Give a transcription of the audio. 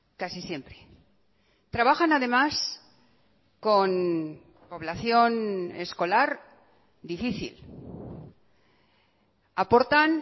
casi siempre trabajan además con población escolar difícil aportan